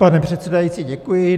Pane předsedající, děkuji.